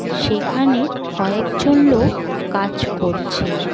সেখানে কয়েকজন লোক কাজ করছে।